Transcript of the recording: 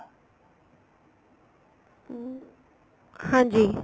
ਹਮ ਹਾਂਜੀ